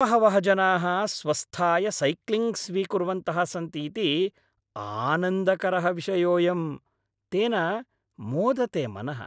बहवः जनाः स्वस्थाय सैक्लिङ्ग् स्वीकुर्वन्तः सन्तीति आनन्दकरः विषयोयम् तेन मोदते मनः।